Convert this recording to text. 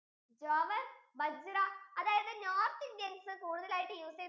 jowar bajranorth indians അതായത് കൂടുതലായിട്ട് use ചെയ്യുന്ന